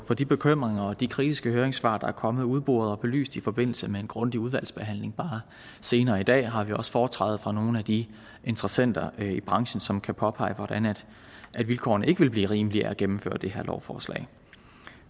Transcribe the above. de bekymringer og de kritiske høringssvar der er kommet udboret og belyst i forbindelse med en grundig udvalgsbehandling bare senere i dag har vi også foretræde af nogle af de interessenter i branchen som kan påpege hvordan vilkårene ikke vil blive rimeligere af at gennemføre det her lovforslag